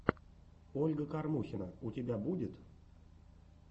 ольга кормухина у тебя будет